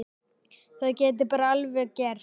Það gæti bara alveg gerst!